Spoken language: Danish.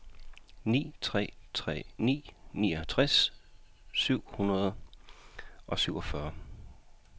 ni tre tre ni niogtres syv hundrede og syvogfyrre